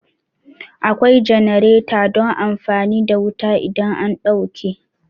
Akwai jenareta don amfani da wuta idan an ɗauke